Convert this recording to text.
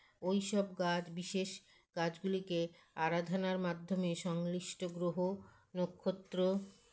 ঐসব গাছ বিশেষ গাছগুলিকে আরাধনার মাধ্যমে সংলিষ্ঠ গ্ৰহ নক্ষত্র